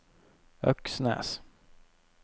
Øksnes